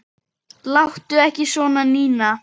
Láttu ekki svona, Nína.